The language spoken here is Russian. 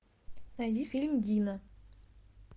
найди фильм дина